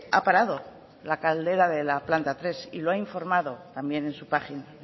ha parado la caldera de la planta tres y lo ha informado también en su página